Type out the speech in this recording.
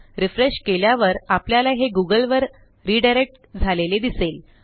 refresh केल्यावर आपल्याला हे गूगल वर रिडायरेक्ट झालेले दिसेल